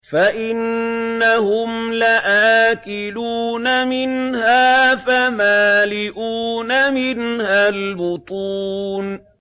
فَإِنَّهُمْ لَآكِلُونَ مِنْهَا فَمَالِئُونَ مِنْهَا الْبُطُونَ